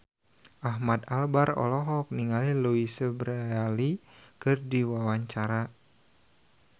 Ahmad Albar olohok ningali Louise Brealey keur diwawancara